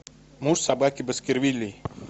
муж собаки баскервилей